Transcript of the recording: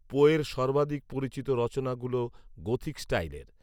পোয়ের সর্বাধিক পরিচিত রচনাগুলো গথিক স্টাইলের